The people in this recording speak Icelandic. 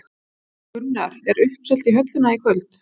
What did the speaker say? Gunnar, er uppselt í höllina í kvöld?